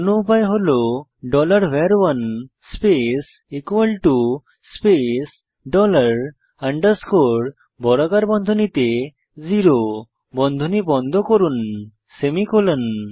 অন্য উপায় হল var1 space space dollar underscore বর্গাকার বন্ধনীতে 0 বন্ধনী বন্ধ করুন সেমিকোলন